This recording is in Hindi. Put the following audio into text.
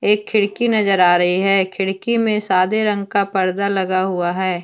एक खिड़की नजर आ रही है खिड़की में सादे रंग का पर्दा लगा हुआ है।